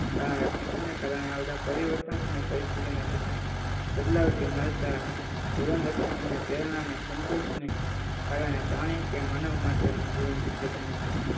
કારણ શિક્ષણના કારણે આવતા પરિવર્તન અને પરિસ્થિતિમાં જતાં બદલાતી મળતા એવન રક્ષણ અને પ્રેરણા અને સંતોષ કારણે પ્રાણી કે માનવી માત્ર જીવન શક્ય બને છે